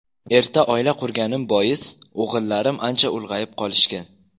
Erta oila qurganim bois o‘g‘illarim ancha ulg‘ayib qolishgan.